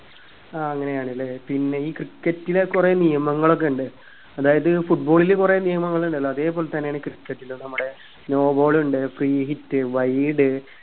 ആ അങ്ങനെയാണല്ലേ പിന്നെ ഈ cricket ലെ കുറെ നിയമങ്ങളോക്കിണ്ട് അതായത് football ല് കുറെ നിയമങ്ങളിണ്ടല്ലോ അതെ പോലെത്തന്നെയാണീ cricket ലും നമ്മുടെ no ball ഉണ്ട് free hit wide